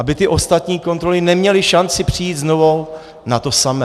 Aby ty ostatní kontroly neměly šanci přijít znovu na to samé.